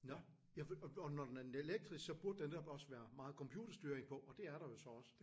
Nåh ja og og når den er elektrisk så burde der netop også være meget computerstyring på og det er der jo så også